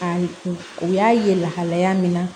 A kun u y'a ye lahalaya min na